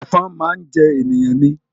Ẹ̀fọn máa ń jẹ ènìyàn ni